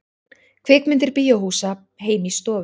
Kvikmyndir bíóhúsa heim í stofu